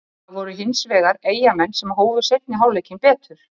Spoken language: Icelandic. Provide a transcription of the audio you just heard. Það voru hins vegar Eyjamenn sem hófu seinni hálfleikinn betur.